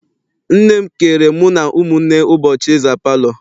Nne m keere mụ na ụmụnne ụbọchị ịza palọ.